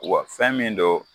Wa fɛn min don